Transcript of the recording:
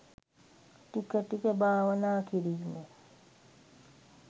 ටික ටික භාවනා කිරීම.